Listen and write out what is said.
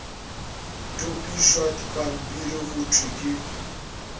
topišwa dipampiri go thwe ke